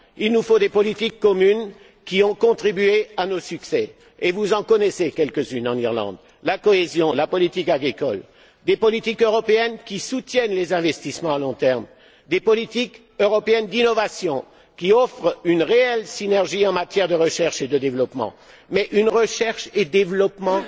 Il nous faut des politiques communes comme celles qui ont contribué à nos succès vous en connaissez quelques unes en Irlande la cohésion, la politique agricole des politiques européennes qui soutiennent les investissements à long terme, des politiques européennes d'innovation, qui offrent une réelle synergie en matière de recherche et de développement, mais une politique de recherche et développement